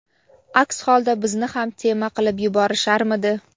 aks holda bizni ham "tema" qilib yuborisharmidi.